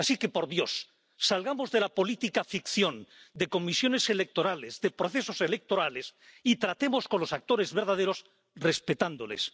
Así que, por Dios, salgamos de la política ficción, de comisiones electorales, de procesos electorales y tratemos con los actores verdaderos respetándoles.